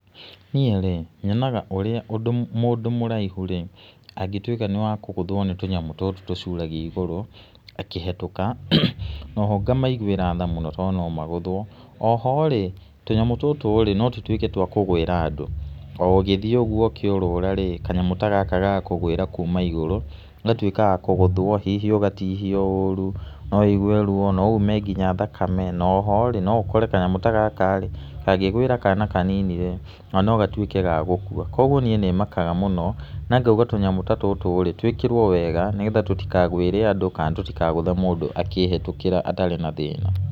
Niĩ rĩ, nyonaga ũrĩa mũndũ mũraihu rĩ, angĩtuĩka nĩ wa kũgũthwo nĩ tũnyamũ tũtũ tũcuragia igũrũ akĩhetũka. Oho ngamaiguĩra tha mũno tondũ no magũthwo, oho rĩ tũnyamũ tũtũ no tũ tuĩke twa kũgũĩra andũ, o ũgĩthiĩ ũguo ũkĩũrũra rĩ, kanyamũ ta gaka gagakũgũĩra kuma igũrũ, ũgatuĩka wa kũgũthwo hihi ũgatihio ũru, no wũigue ruo no ume nginya thakame, na oho no ũkore kanyamũ ta gaka rĩ kangĩgũĩra kana kanini rĩ ona gatuĩke ga gũkua. Kuoguo niĩ nĩ mkaga mũno na ngauga tũnyamũ ta tũtũ tũĩkĩrwo wega nĩ getha tũtikagũĩre andũ kana tũtikagũthe mũndũ akĩhetũkĩra atarĩ na thĩna.